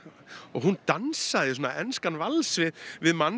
og hún dansaði svona enskan vals við við mann